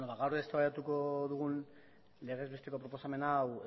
gaur eztabaidatuko dugun legez besteko proposamen hau